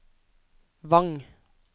Vang